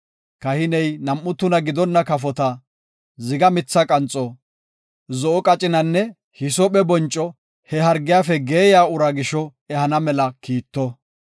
kahiney nam7u tuna gidonna kafota, ziga mitha qanxo, zo7o qacinanne hisoophe bonco he hargiyafe geeyiya uraa gisho ehana mela kiitto.